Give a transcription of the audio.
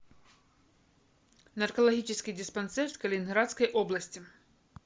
наркологический диспансер калининградской области